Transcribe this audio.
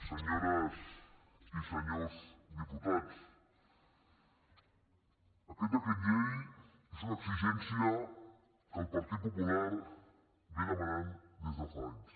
senyores i senyors diputats aquest decret llei és una exigència que el partit popu·lar demana des de fa anys